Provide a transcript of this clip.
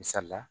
Misali la